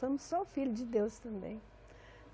Somos só filho de Deus também.